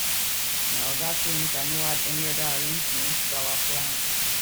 my oga say make i no add any other arrangement to our plan